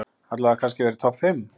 Allavega kannski að vera í topp fimm?